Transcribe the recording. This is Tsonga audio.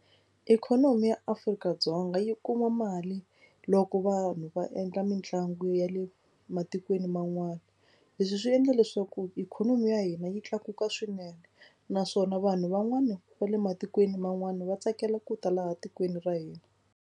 Ikhonomi ya Afrika-Dzonga yi kuma mali loko vanhu va endla mitlangu ya le matikweni man'wani. Leswi swi endla leswaku ikhonomi ya hina yi tlakuka swinene naswona vanhu van'wana va le matikweni man'wani va tsakela ku ta laha tikweni ra hina.